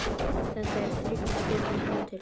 Þetta er þriggja stjörnu hótel.